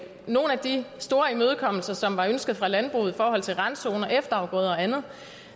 nogle af de store imødekommelser som var ønsket fra landbruget i forhold til randzoner efterafgrøder og andet